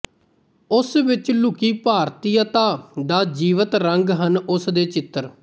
ਉਸ ਵਿੱਚ ਲੁਕੀ ਭਾਰਤੀਅਤਾ ਦਾ ਜੀਵੰਤ ਰੰਗ ਹਨ ਉਸ ਦੇ ਚਿੱਤਰ